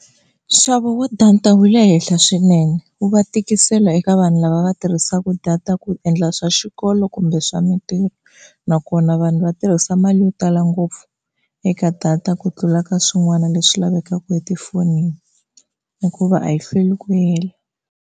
Nxavo wa data wu le henhla swinene u va tikisela eka vanhu lava va tirhisaka data ku endla swa xikolo kumbe swa mintirho nakona vanhu va tirhisa mali yo tala ngopfu eka data ku tlula ka swin'wana leswi lavekaka etifonini hikuva a yi hlweli ku hela.